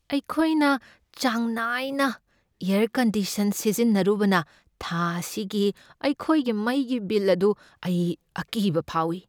ꯑꯩꯈꯣꯏꯅ ꯆꯥꯡ ꯅꯥꯏꯅ ꯑꯦꯔ ꯀꯟꯗꯤꯁꯟ ꯁꯤꯖꯤꯟꯅꯔꯨꯕꯅ ꯊꯥ ꯑꯁꯤꯒꯤ ꯑꯩꯈꯣꯏꯒꯤ ꯃꯩꯒꯤ ꯕꯤꯜ ꯑꯗꯨ ꯑꯩ ꯑꯀꯤꯕ ꯐꯥꯎꯏ꯫